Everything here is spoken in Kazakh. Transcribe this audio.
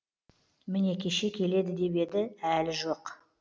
міне кеше келеді деп еді әлі жоқ